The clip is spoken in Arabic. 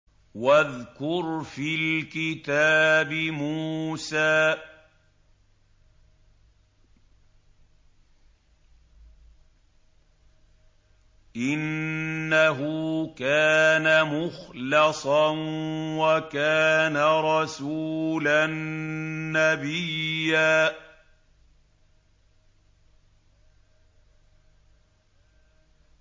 وَاذْكُرْ فِي الْكِتَابِ مُوسَىٰ ۚ إِنَّهُ كَانَ مُخْلَصًا وَكَانَ رَسُولًا نَّبِيًّا